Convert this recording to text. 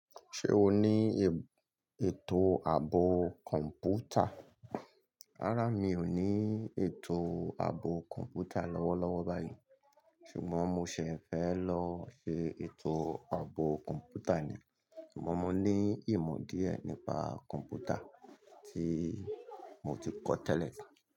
Ṣé o ní ètò ààbò kọ̀m̀pútà? Rárá mi ò ní ètò ààbò kọ̀m̀pútà lọ́wọ́lọ́wọ́ báyìí ṣùgbọ́n mo ṣẹ̀ fẹ́ lọ ṣe ètò ààbò kọ̀m̀pútà ni. Ṣùgbọ́n mo ní ìmọ̀ díẹ̀ nípa kọ̀m̀pútà tí mo ti kọ́ tẹ́lẹ̀.